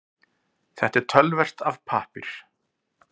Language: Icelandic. Þetta töluvert af pappír